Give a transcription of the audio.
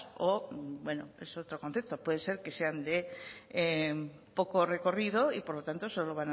o es otro concepto puede ser que sean de poco recorrido y por lo tanto solo